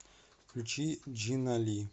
включи джина ли